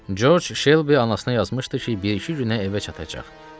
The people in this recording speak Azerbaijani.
Corc Şelbi anasına yazmışdı ki, bir-iki günə evə çatacaq.